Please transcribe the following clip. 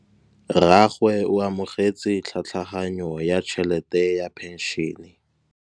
Rragwe o amogetse tlhatlhaganyô ya tšhelête ya phenšene.